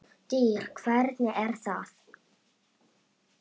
DYR, HVERNIG ER ÞAÐ!